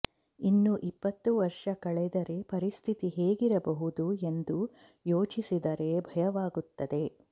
ಇನ್ನೂ ಇಪ್ಪತ್ತು ವರ್ಷ ಕಳೆದರೆ ಪರಿಸ್ಥಿತಿ ಹೇಗಿರಬಹುದು ಎಂದು ಯೋಚಿಸಿದರೆ ಭಯವಾಗುತ್ತದೆ